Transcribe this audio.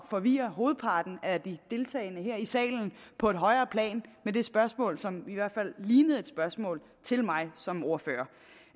at forvirre hovedparten af de deltagende her i salen på et højere plan med det spørgsmål som i hvert fald lignede et spørgsmål til mig som ordfører